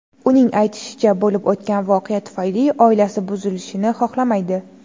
Uning aytishicha, bo‘lib o‘tgan voqea tufayli oilasi buzilishini xohlamaydi.